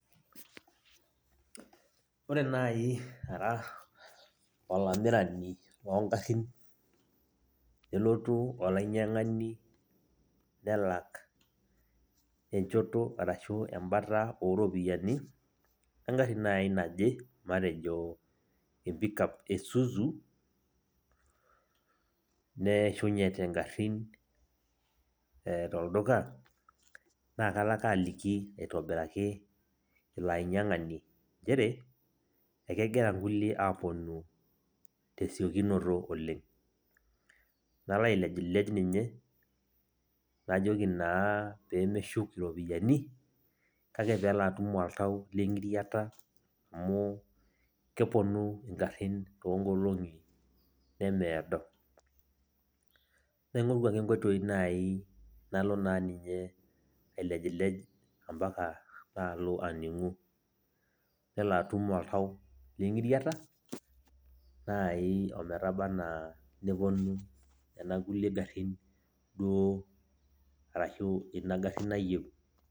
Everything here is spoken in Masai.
Ore nai ara olamirani logarrin, nelotu olainyang'ani nelak enchoto arashu ebata oropiyiani, egarri nai naje, matejo empikap e Suzu, neeshunyete garrin tolduka, na kalo ake aliki aitobiraki ilo ainyang'ani njere, ekegira nkulie aponu tesiokinoto oleng. Nalo alejlej ninye, najoki naa pemeshuk iropiyiani, kake pelo atum oltau leng'iriata, amu keponu igarrin toonkolong'i nemeedo. Naing'oru ake nkoitoii nai nalo naa ninye ailejlej ampaka nalo aning'u. Nelo atum oltau leng'iriata, nai ometaba enaa neponu nena kulie garrin duo, arashu ina garri nayieu.